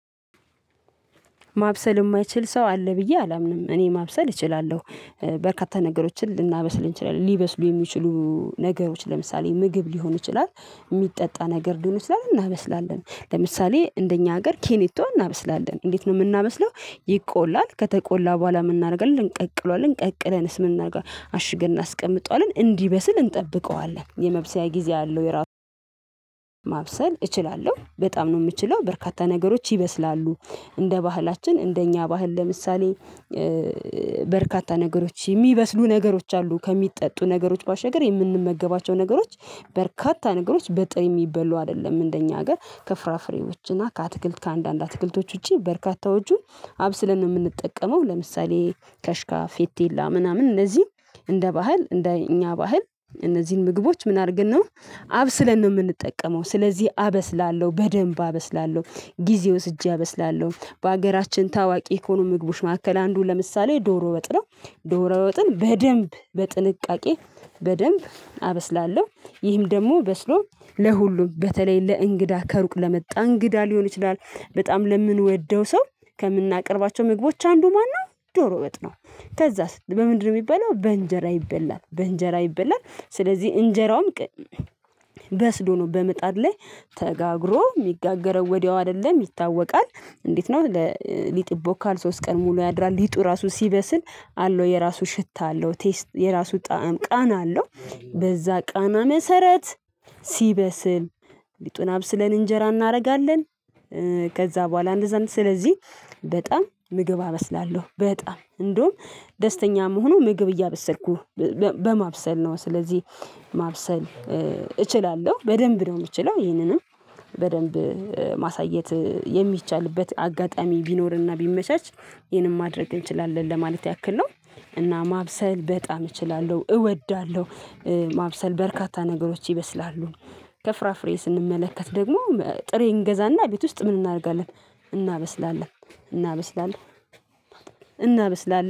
ማብሰል የማይችል ሰው አለ ብዬ አላምን፤ እኔ ማብሰል እችላለሁ በርካታ ነገሮችን ልናበስል እንችላለን ሊበስሉ የሚችሉ ነገሮች ለምሳሌ ምግብ ሊሆን ይችላል፤ የሚጠጣ ነገር ሊሆን ይችላል እናበስላለን ለምሳሌ እንደኛ ሀገር ኬኔቶ እናበስላለን እንዴት ነው የምናመስለው ይቆላል ከተቆላ በኋላ የምናደርገው እንቀቅለዋለን፤ ቀቅለንስ የምናደርገው አሽገን አስቀምጠዋለን እንዲበስል እንጠብቀዋለን፤ የመብሰያ ጊዜ አለው የራሱን ማብሰል እችላለሁ በጣም ነው የምችለው በርካታ ነገሮች ይበስላሉ፤ እንደ ባህላችን እንደኛ ባህል ለምሳሌ በርካታ ነገሮች የሚበስሉ ነገሮች አሉ ከሚጠጡ ነገሮች ባሸገር የምንመገባቸው ነገሮች በርካታ ነገሮች በጥሬ የሚበሉ አይደለም እንደኛ ሀገር ከፍራፍሬዎች እና ከአትክልት ከአንዳንድ አትክልቶች ውጪ በርካታዎቹን አብስለን ነው የምንጠቀመው ለምሳሌ ከሽካ ፌቴላ ምናምን እነዚህ እንደ ባህል እንደ እኛ ባህል እነዚህን ምግቦች ምን አድርገን ነው አብስለን ነው የምንጠቀመው ስለዚህ አበስላለሁ በደንብ አበስላለሁ፤ ጊዜ ወስጄ አበስላለሁ በሀገራችን ታዋቂ ከሆኑ ምግቡሽ መካከል አንዱን ለምሳሌ ዶሮ ወጥ ነው ዶሮ ወጥን በደንብ በጥንቃቄ በደንብ አበስላለሁ ይህም ደግሞ በስሎም ለሁሉም በተለይ ለእንግዳ ከሩቅ ለመጣ እንግዳ ሊሆን ይችላል በጣም ለምንወደው ሰው ከምናቀርባቸው ምግቦች አንዱ ማነው ጆሮ ወጥ ነው ከዛስ በምንድነው የሚባለው በእንጀራ ይበላል በእንጀራ ይበላል ስለዚህ እንጀራውም በመጣድ ላይ ተጋግሮ የሚጋገረው ወዲያው አይደለም ይታወቃል እንዴት ነው ሊጥ ይቦካል ሶስት ቀን ሙሉ ያድራል ሊጡ ራሱ ሲበስል አለው የራሱ ሽታ አለው ቴስት የራሱ ጣዕም ቃና አለው በዛ ቃና መሰረት ሲበስል ሊጡን አብስለን እንጀራ እናደርጋለን ከዛ በኋላ እንደዚያም ስለዚህ በጣም ምግብ አበስላለሁ በጣም እንደውም ደስተኛ እመሆነው ምግብ እያበሰርኩ በማብሰል ነው ስለዚህ ማብሰል እችላለሁ በደንብ ነው የምችለው ይህንንም በደንብ ማሳየት የሚቻልበት አጋጣሚ ቢኖርና ቢመቻች ይሄንን ማድረግ እንችላለን ለማለት ያክል ነው እና ማብሰል በጣም እችላለሁ እወዳለሁ። ማብሰል በርካታ ነገሮች ይበስላሉ ከፍራፍሬ ስንመለከት ደግሞ ጥሬ እንገዛና ቤት ውስጥ ምን እናደርጋለ፤ እናበስላለን፤ እናበስላለን እናበስላለን